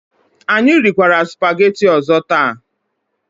Anyị rikwara sụpaghetị ọzọ taa.